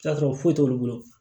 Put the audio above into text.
T'a sɔrɔ foyi t'olu bolo